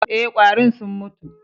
E, ƙwarin sun mutu.